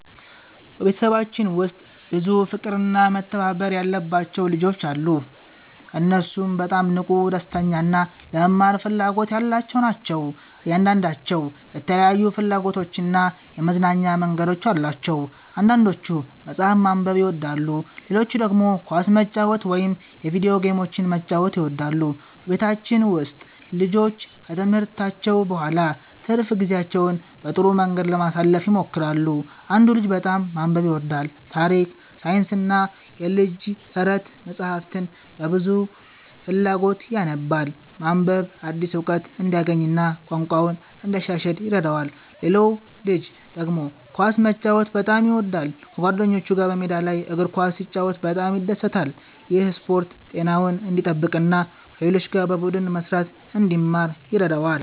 በቤተሰባችን ውስጥ ብዙ ፍቅርና መተባበር ያለባቸው ልጆች አሉ። እነሱ በጣም ንቁ፣ ደስተኛ እና ለመማር ፍላጎት ያላቸው ናቸው። እያንዳንዳቸው የተለያዩ ፍላጎቶችና የመዝናኛ መንገዶች አሏቸው። አንዳንዶቹ መጽሐፍ ማንበብ ይወዳሉ፣ ሌሎቹ ደግሞ ኳስ መጫወት ወይም የቪዲዮ ጌሞችን መጫወት ይወዳሉ። በቤታችን ውስጥ ልጆቹ ከትምህርታቸው በኋላ ትርፍ ጊዜያቸውን በጥሩ መንገድ ለማሳለፍ ይሞክራሉ። አንዱ ልጅ በጣም ማንበብ ይወዳል። ታሪክ፣ ሳይንስና የልጆች ተረት መጻሕፍትን በብዙ ፍላጎት ያነባል። ማንበብ አዲስ እውቀት እንዲያገኝ እና ቋንቋውን እንዲያሻሽል ይረዳዋል። ሌላው ልጅ ደግሞ ኳስ መጫወት በጣም ይወዳል። ከጓደኞቹ ጋር በሜዳ ላይ እግር ኳስ ሲጫወት በጣም ይደሰታል። ይህ ስፖርት ጤናውን እንዲጠብቅ እና ከሌሎች ጋር በቡድን መስራትን እንዲማር ይረዳዋል።